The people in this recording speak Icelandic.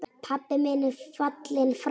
Pabbi minn er fallinn frá.